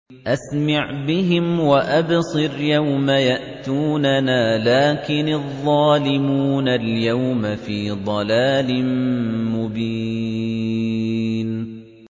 أَسْمِعْ بِهِمْ وَأَبْصِرْ يَوْمَ يَأْتُونَنَا ۖ لَٰكِنِ الظَّالِمُونَ الْيَوْمَ فِي ضَلَالٍ مُّبِينٍ